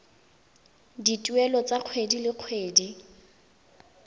dituelo tsa kgwedi le kgwedi